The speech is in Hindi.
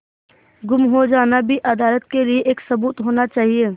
गुम हो जाना भी अदालत के लिये एक सबूत होना चाहिए